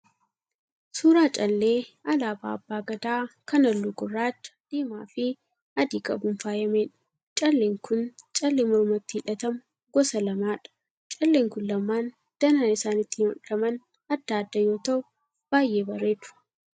Suuraa callee alaabaa abbaa Gadaa kan halluu gurraacha, diimaafi adii qabuun faayyameedha. Calleen kun callee mormatti hidhatamu gosa lamaadha. Calleen kun lamaan danaan isaan ittiin hodhaman adda adda yoo ta'u baay'ee bareedu.